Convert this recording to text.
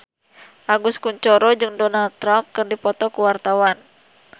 Agus Kuncoro jeung Donald Trump keur dipoto ku wartawan